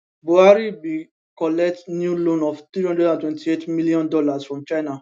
buhari bin collect new loan of 328 million dollars from china